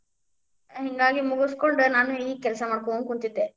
ಹಿಂಗಾಗಿ ಮುಗಸ್ಕೊಂಡ ನಾನು ಈಗ ಕೆಲಸಾ ಮಾಡ್ಕೊಂತ ಕುಂತಿದ್ದೆ.